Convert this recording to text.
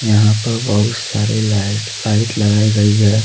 यहाँ पर बहुत सारे लाइट लाइट लगाई गई है।